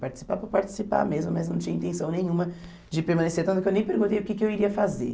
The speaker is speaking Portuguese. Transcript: Participar, vou participar mesmo, mas não tinha intenção nenhuma de permanecer, tanto que eu nem perguntei o que que eu iria fazer.